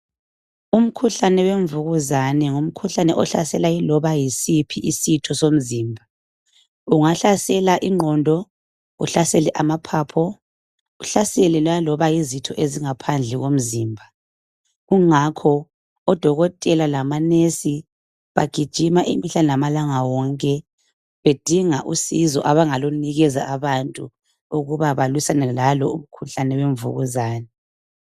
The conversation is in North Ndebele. Umkhuhlane wemvukuzane ngumkhuhlane ohlasela iloba yisiphi isitho somzimba. Ungahlasela ingqondo, uhlasele amaphaphu, uhlasele laloba yizitho ezingaphandle komzimba. Kungakho odokotela lamanesi bagijima imihla lamalanga yamalanga wonke bedinga usizo abangakunikeza abantu ukuba balwisane lalo umkhuhlane wemvukuzane